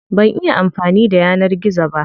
Ban iya amfani da yanar gizo ba.